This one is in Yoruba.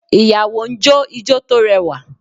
Ìyàwó ń jó ijo tó rẹwà